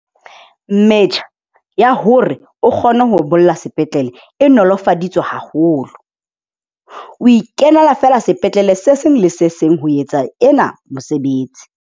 Metjha ya hore o kgone ho bolla sepetlele e nolofaditswe haholo, o ikenela feela sepetlele se seng le se seng ho etsa ena mesebetsi.